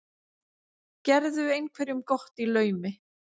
Gerðu einhverjum gott í laumi.